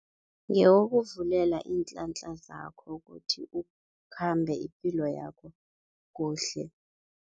Ngewokuvulela inhlanhla zakho kuthi ukhambe ipilo yakho kuhle.